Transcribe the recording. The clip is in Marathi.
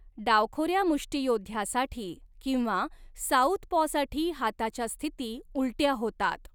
डावखोऱ्या मुष्टियोद्ध्यासाठी किंवा साउथपॉसाठी हाताच्या स्थिती उलट्या होतात.